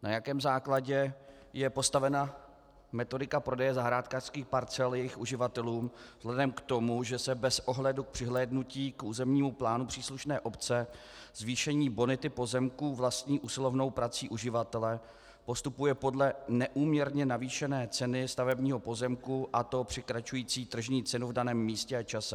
Na jakém základě je postavena metodika prodeje zahrádkářských parcel jejich uživatelům vzhledem k tomu, že se bez ohledu k přihlédnutí k územnímu plánu příslušné obce, zvýšení bonity pozemků vlastní usilovnou prací uživatele postupuje podle neúměrně navýšené ceny stavebního pozemku, a to překračující tržní cenu v daném místě a čase?